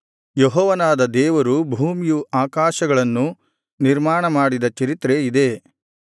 ಯೆಹೋವನಾದ ದೇವರು ಭೂಮಿಯು ಆಕಾಶಗಳನ್ನು ನಿರ್ಮಾಣ ಮಾಡಿದ ಚರಿತ್ರೆ ಇದೇ